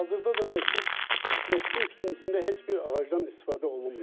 Hazırda da məscid məscidin tikintisində heç bir ağacdan istifadə olunmayıb.